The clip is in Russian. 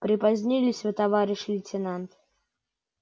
припозднились вы товарищ лейтенант